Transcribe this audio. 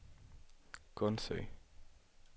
Gundsø